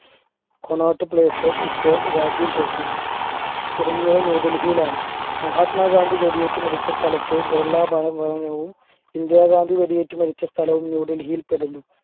Connaught place ഇപ്പോൾ രാജ്യം ജോക്കി തുടങ്ങിയവ ന്യൂഡൽഹിയിലാണ് മഹാത്മാഗാന്ധി വെടിയേറ്റ് മരിച്ച സ്ഥലത്തെ ബിർള ഭവനവും ഇന്ദിരാഗാന്ധി വെടിയേറ്റ് മരിച്ച സ്ഥലവും ന്യൂഡൽഹിയിൽപ്പെടുന്നു